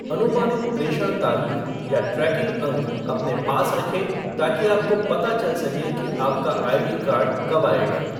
अनुमानित प्रेषण तारीख या ट्रैकिंग अंक अपने पास रखें ताकि आपको पता चल सके कि आपका आईडी कार्ड कब आएगा।